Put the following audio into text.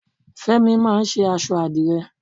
Fémi máà ń ṣe aṣọ àdìrẹ.